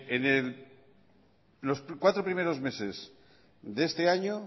en los cuatro primeros meses de este año